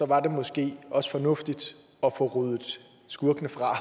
var det måske også fornuftigt at få ryddet skurkene fra